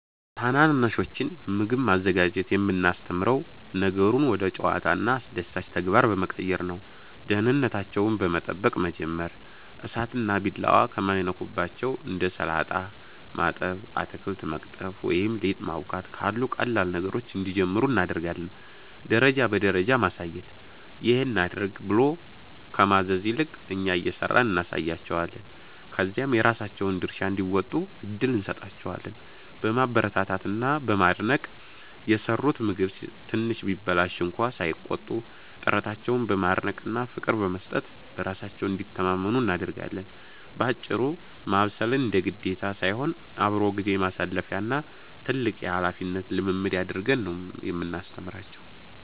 ታናናሾችን ምግብ ማዘጋጀት የምናስተምረው ነገሩን ወደ ጨዋታና አስደሳች ተግባር በመቀየር ነው፦ ደህንነታቸውን በመጠበቅ መጀመር፦ እሳትና ቢላዋ ከማይነኩባቸው እንደ ሰላጣ ማጠብ፣ አትክልት መቅጠፍ ወይም ሊጥ ማቦካት ካሉ ቀላል ነገሮች እንዲጀምሩ እናደርጋለን። ደረጃ በደረጃ ማሳየት፦ "ይሄን አድርግ" ብሎ ከማዘዝ ይልቅ፣ እኛ እየሰራን እናሳያቸዋለን፤ ከዚያም የራሳቸውን ድርሻ እንዲወጡ እድል እንሰጣቸዋለን። በማበረታታት እና በማድነቅ፦ የሰሩት ምግብ ትንሽ ቢበላሽ እንኳ ሳይቆጡ፣ ጥረታቸውን በማድነቅና ፍቅር በመስጠት በራሳቸው እንዲተማመኑ እናደርጋለን። ባጭሩ፤ ማብሰልን እንደ ግዴታ ሳይሆን፣ አብሮ ጊዜ ማሳለፊያ እና ትልቅ የኃላፊነት ልምምድ አድርገን ነው የምናስተምራቸው።